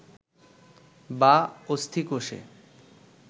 বা অস্থিকোষে